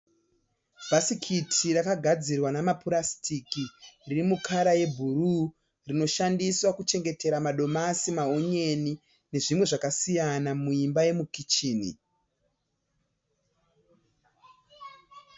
Bhasikati rakagadzirwa namapurasitiki riri mukara yebhuruu rinoshandiswa kuchengetera madomasi, maonyeni nezvimwe zvakasiyana muimba yemukicheni.